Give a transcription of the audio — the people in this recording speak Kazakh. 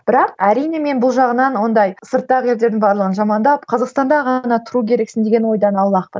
бірақ әрине мен бұл жағынан ондай сырттағы елдердің барлығын жамандап қазақстанда ғана тұру керексің деген ойдан аулақпын